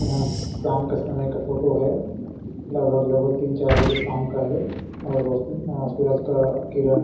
यह शाम के समय का फोटो है लगभग-लगभग तीन चार बजे शाम का है और रोशनी और सूरज का किरण--